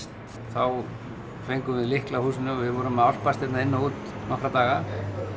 þá fengum við lykla að húsinu við vorum að álpast hérna inn og út nokkra daga